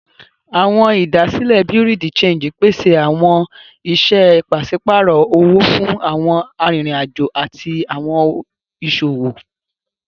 Awọn idasile Bureau de change pese awọn iṣẹ paṣipaarọ owo fun awọn aririn ajo ati awọn iṣowo.